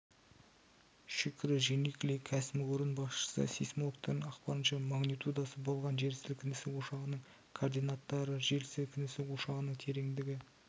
шүкрі дженикли кәсіпорын басшысы сейсмологтардың ақпарынша магнитудасы болған жер сілкінісі ошағының координаттары жер сілкінісі ошағының тереңдігі